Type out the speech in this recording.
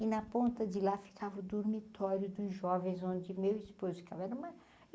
E na ponta de lá ficava o dormitório dos jovens onde meu esposo ficava. era uma